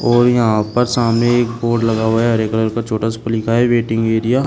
और यहां पर सामने एक बोर्ड लगा हुआ है हरे कलर छोटा सा लिखा है वेटिंग एरिया --